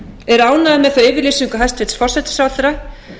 er ánægður með þá yfirlýsingu hæstvirts forsætisráðherra